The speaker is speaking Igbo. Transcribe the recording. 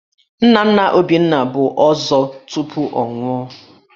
Nna nna Obinna bụ Ọzọ tupu ọ nwụọ